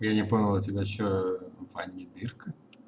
я не понял у тебя что в ванне дырка